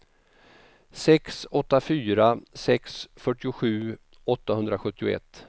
sex åtta fyra sex fyrtiosju åttahundrasjuttioett